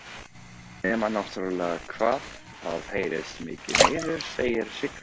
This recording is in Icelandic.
Nema náttúrlega hvað það heyrist mikið niður, segir Sigga.